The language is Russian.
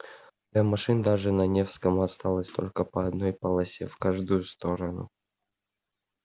для машин даже на невском осталось только по одной полосе в каждую сторону